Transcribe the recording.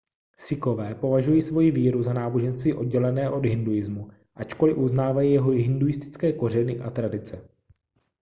sikhové považují svoji víru za náboženství oddělené od hinduismu ačkoliv uznávají jeho hinduistické kořeny a tradice